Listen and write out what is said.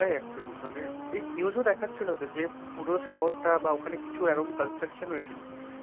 actually মানে news ও দেখাচ্ছিলতো যে পুরো শহরটা বা ওখানে কিছু এরকম construction হয়েছিল।